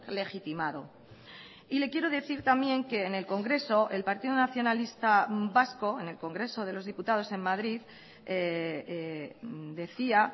legitimado y le quiero decir también que en el congreso el partido nacionalista vasco en el congreso de los diputados en madrid decía